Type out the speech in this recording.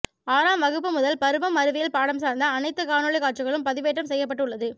ஆறாம் வகுப்பு முதல் பருவம் அறிவியல் பாடம் சார்ந்த அனைத்து காணொளி காட்சிகளும் பதிவேற்றம் செய்யப்பட்டு உள்ளது